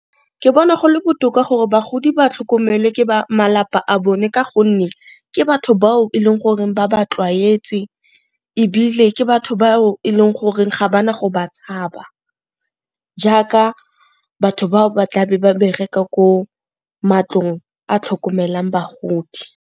Ke bona gole botoka gore bagodi ba tlhokomelwe ke ba malapa a bone ka gonne ke batho bao e leng gore ba ba tlwaetse, ebile ke batho bao e leng gore ga ba na go ba tshaba jaaka batho bao ba tlabe ba bereka ko matlong a tlhokomelang bagodi.